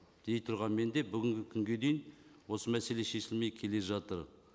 дей тұрғанмен де бүгінгі күнге дейін осы мәселе шешілмей келе жатыр